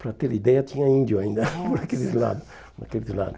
Para ter ideia, tinha índio ainda, nossa, por aqueles lados, por aqueles lados.